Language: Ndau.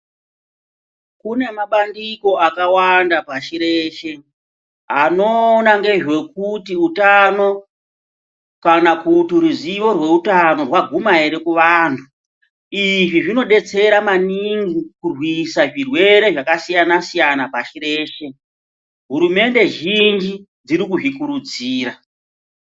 Kune mabandiko akawanda pashi reshe anoona ngezvekuti utano kana kuti ruzivo rweutano rwaguma ere kuvandu izvi zvinodetsera kurwisa zvirwere zvakasiyana siyana pashi reshe. Hurumende zhinji dzirikuzvikurudzira.